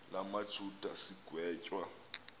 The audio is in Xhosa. la majuda sigwetywa